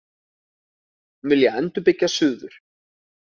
Vilja endurbyggja suður